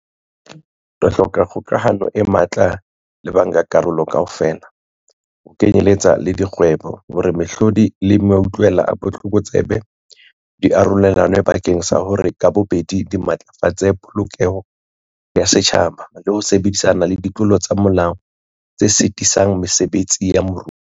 Re hloka kgokahano e matla le bankakarolo kaofela, ho kenyeletsa le dikgwebo, hore mehlodi le mautlwela a botlokotsebe di arolelanwe bakeng sa hore ka bobedi di matlafatse polokeho ya setjhaba le ho sebetsana le ditlolo tsa molao tse sitisang mesebetsi ya moruo.